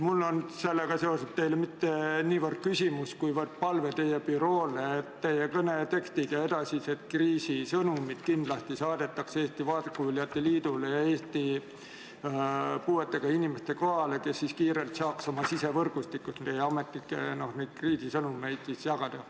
Mul on sellega seoses teile mitte niivõrd küsimus, kuivõrd palve teie büroole, et teie kõnede tekstid ja edasised kriisisõnumid kindlasti saadetaks Eesti Vaegkuuljate Liidule ja Eesti Puuetega Inimeste Kojale, kes saaks kiirelt oma sisevõrgustikus ametlikke kriisisõnumed jagada.